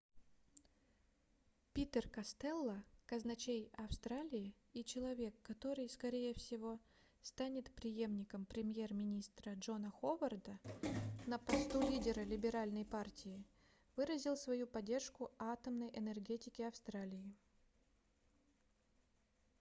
питер костелло казначей австралии и человек который скорее всего станет преемником премьер-министра джона ховарда на посту лидера либеральной партии выразыл свою поддержку атомной энергетике австралии